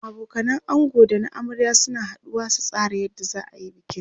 abokanan ango da na amarya suna haduwa su tsara yadda zaayi bikin